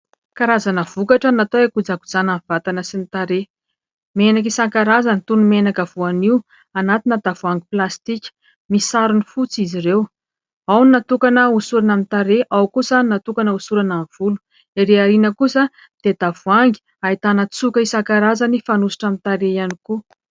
Karazana vokatra natao hikojakojana ny vatana sy ny tarehy. Menaka isankarazany toy ny menaka voanio anatina tavoangy plastika misarona fotsy izy ireo. Ao ny natokana hosorana amin'ny tarehy, ao kosa ny natokana hosorana amin'ny volo. Ireo ariana kosa dia tavoangy ahitanan-tsoka isan-karazany fanosotra aminy tarehy ihany koa.